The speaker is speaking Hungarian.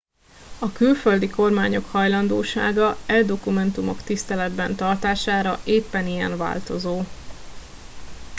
a külföldi kormányok hajlandósága e dokumentumok tiszteletben tartására éppen ilyen változó